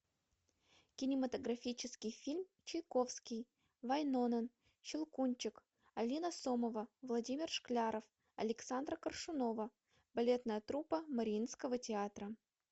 кинематографический фильм чайковский вайнонен щелкунчик алина сомова владимир шкляров александра коршунова балетная труппа мариинского театра